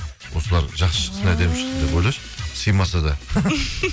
осылар жақсы шықсын әдемі шықсын деп ойлашы сыймаса да